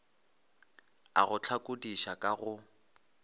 a go hlakodiša ka go